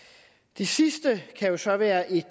det sidste kan jo så være et